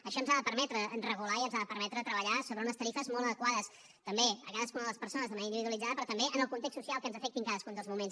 això ens ha de permetre regular i ens ha de permetre treballar sobre unes tarifes molt adequades a cadascuna de les persones d’una manera individualitzada però també en el context social que ens afecti en cadascun dels moments